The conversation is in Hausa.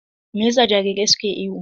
Me yasa jarirai suke ihu?